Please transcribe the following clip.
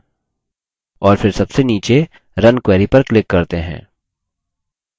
और फिर सबसे नीचे run query पर click करते हैं